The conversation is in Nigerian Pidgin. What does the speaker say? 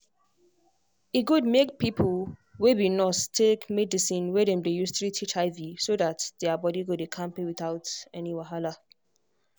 e good make people wey be nurse take medicine wey dem dey use treat hiv so that their body go dey kampe without any wahala.